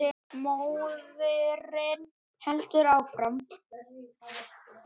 Móðirin heldur áfram.